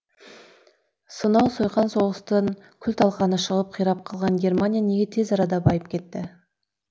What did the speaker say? сонау сойқан соғыстан күл талқаны шығып қирап қалған германия неге тез арада байып кетті